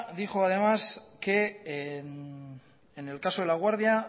dijo además que en el caso de laguardia